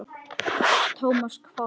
Thomas hváði.